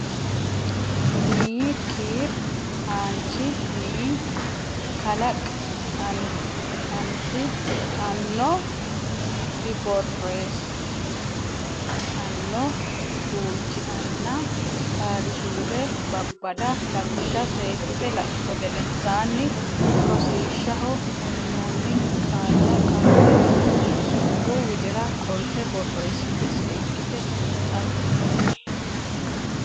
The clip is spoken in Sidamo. nni kiir aanch nni kalaq ant anno diborr eess anno guulch nna Qaali suude Babbada lawishsha seekkite laitto gedensaanni rosiishshaho uynoonni qaalla qaali suudu widira qolte borreessite seekkite xiinxalli.